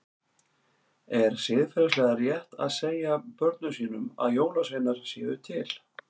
Er siðferðilega rétt að segja börnum sínum að jólasveinar séu til?